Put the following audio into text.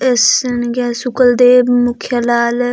एसन गे सुखल दे मुखे लाल--